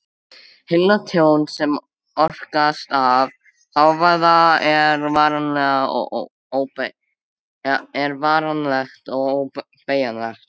Heyrnartjón sem orsakast af hávaða er varanlegt og óbætanlegt.